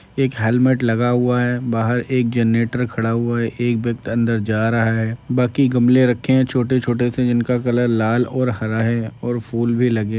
एक हेलमेट लगा हुआ है। बाहर एक जनरेटर खड़ा हुआ है। एक व्यक्ति अंदर जा रहा है। बाकी गमले रखे हैं छोटे छोटे से जिनका कलर लाल और हरा है और फूल भी लगे --